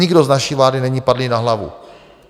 Nikdo z naší vlády není padlý na hlavu.